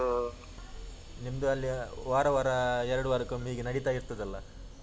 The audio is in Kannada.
ನಿಮ್ಮದು ಅಲ್ಲಿ ವಾರ ವಾರ ಎರಡು ವಾರಕೊಮ್ಮೆ ಹೀಗೆ ನಡೆತ ಇರ್ತದೆಲ್ಲ?